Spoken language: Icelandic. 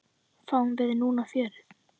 Fáum við núna fjörið?